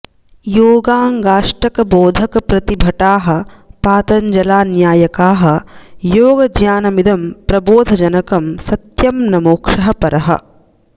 योगाङ्गाष्टक बोधक प्रति भटाः पातञ्जला न्यायकाः योग ज्ञानमिदं प्रबोध जनकं सत्यं न मोक्षः परः